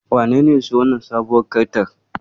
Wanene ya siyo wannan sabuwar Kartar?